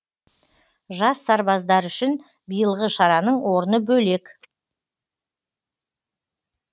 жас сарбаздар үшін биылғы шараның орны бөлек